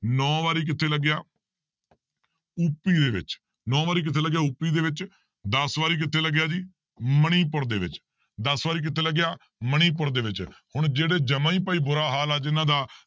ਨੋਂ ਵਾਰੀ ਕਿੱਥੇ ਲੱਗਿਆ ਉਪੀ ਦੇ ਵਿੱਚ, ਨੋਂ ਵਾਰੀ ਕਿੱਥੇ ਲੱਗਿਆ ਉਪੀ ਦੇ ਵਿੱਚ, ਦਸ ਵਾਰੀ ਕਿੱਥੇ ਲੱਗਿਆ ਜੀ ਮਣੀਪੁਰ ਦੇ ਵਿੱਚ, ਦਸ ਵਾਰੀ ਕਿੱਥੇ ਲੱਗਿਆ ਮਣੀਪੁਰ ਦੇ ਵਿੱਚ, ਹੁਣ ਜਿਹੜੇ ਜਮਾ ਹੀ ਭਾਈ ਬੁਰਾ ਹਾਲ ਹੈ ਜਿਹਨਾਂ ਦਾ